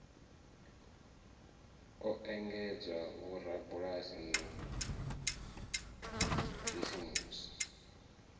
o ekedzwa vhorabulasi na bisimusi